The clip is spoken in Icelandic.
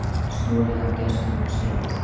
Stolið af gestum skemmtistaða